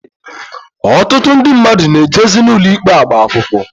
Ọtụtụ ndị mmadụ na-ejezi n'ụlọikpe agba akwụkwọ